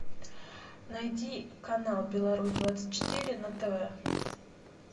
найди канал беларусь двадцать четыре на тв